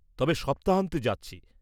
-তবে সপ্তাহান্তে যাচ্ছি।